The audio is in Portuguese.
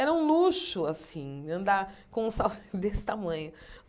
Era um luxo, assim, andar com um salto desse tamanho.